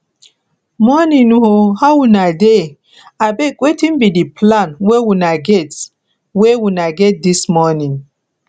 morning o how una dey abeg wetin be di plan wey una get wey una get dis morning